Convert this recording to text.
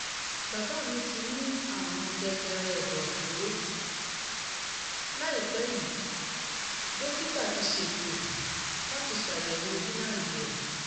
bàbá mi ti ní àrùn-jẹjẹrẹ ẹ̀dọ̀fóró láìpẹ́ yìí dókítà ti ṣètò láti ṣàyẹ̀wò gíláǹdì rẹ̀